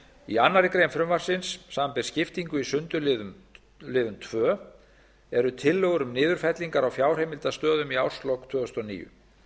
í annarri grein frumvarpsins samanber skiptingu í sundurliðun tveir eru tillögur um niðurfellingar á fjárheimildastöðum í árslok tvö þúsund og níu